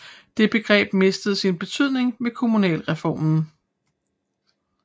Det begreb mistede sin betydning ved kommunalreformen